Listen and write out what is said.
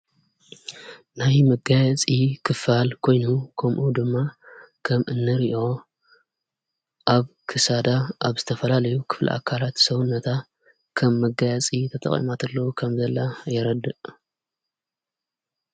ናይ መጋያፂ ክፋል ኮይኑሁ ኮምኦ ድማ ከም እነርኦ ኣብ ክሳዳ ኣብ ዝተፈላለዩ ክፍል ኣካራት ሰውነታ ከም መጋያፂ ተተቐማትለዉ ኸም ዘላ የረድእ።